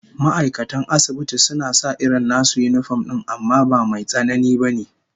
Ma'aikatan asibiti suna sa irin nasu yinifom din amma ba Mai tsanani ba ne